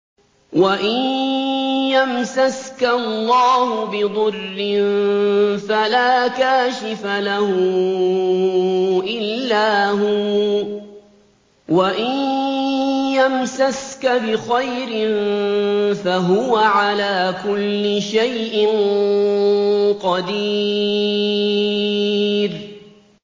وَإِن يَمْسَسْكَ اللَّهُ بِضُرٍّ فَلَا كَاشِفَ لَهُ إِلَّا هُوَ ۖ وَإِن يَمْسَسْكَ بِخَيْرٍ فَهُوَ عَلَىٰ كُلِّ شَيْءٍ قَدِيرٌ